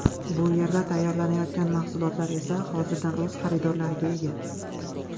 Bu yerda tayyorlanayotgan mahsulotlar esa hozirdan o‘z xaridorlariga ega.